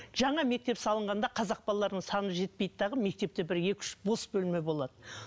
жаңа мектеп салынғанда қазақ балаларының саны жетпейді дағы мектепте бір екі үш бос бөлме болады